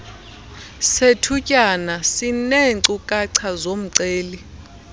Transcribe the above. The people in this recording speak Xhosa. sethutyana sineenkcukacha zomceli